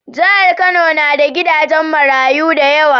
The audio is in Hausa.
Jahar kano na da gidajen marayu dayawa